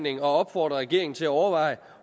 at opfordre regeringen til at overveje